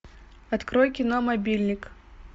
открой кино мобильник